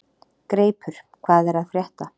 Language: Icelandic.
Greipur, hvað er að frétta?